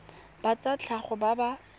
ba tsa tlhago ba ba